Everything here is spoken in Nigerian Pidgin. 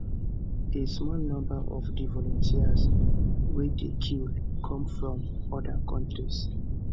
a small number of di volunteers wey dey killed come from oda countries